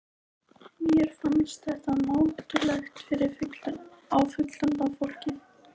Mér fannst þetta mátulegt á fullorðna fólkið.